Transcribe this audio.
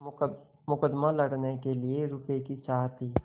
मुकदमा लड़ने के लिए रुपये की चाह थी